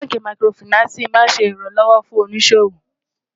bánkì màkìrófinààsí má n ṣé ìran lówó fún òní ṣòwò